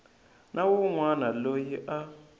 na wun wana loyi a